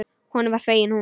Honum var fengin hún.